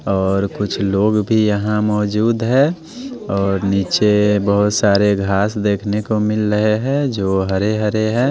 और कुछ लोग भी यहां मौजूद है और नीचे बहुत सारे घास देखने को मिल रहे हैं जो हरे-हरे हैं।